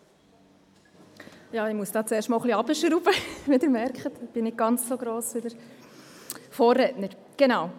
Ich muss zuerst das Pult etwas nach unten schrauben.